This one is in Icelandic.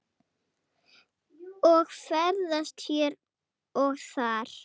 og ferðast hér og þar.